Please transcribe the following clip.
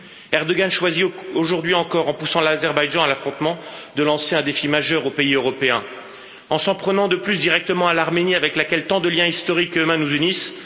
Erdoğan choisit aujourd'hui encore, en poussant l'Azerbaïdjan à l'affrontement, de lancer un défi majeur aux pays européens en s'en prenant de plus directement à l'Arménie, avec laquelle tant de liens historiques et humains nous unissent.